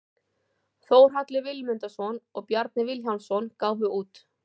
Þórhallur Vilmundarson og Bjarni Vilhjálmsson gáfu út.